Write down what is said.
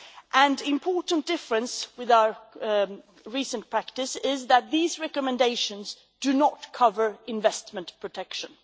An important difference with our recent practice is that these recommendations do not cover investment protection.